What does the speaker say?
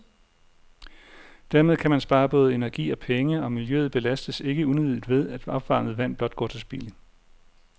Dermed kan man spare både energi og penge, og miljøet belastes ikke unødigt ved, at opvarmet vand blot går til spilde.